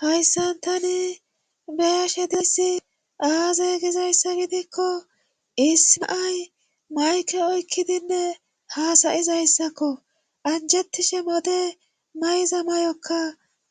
hayssan tani beya she disi aaze gizayssa gidikko isimiay mayke oykkidinne haasayizayssakko anjettishe mode mayza mayokka